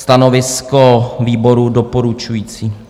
Stanovisko výboru: doporučující.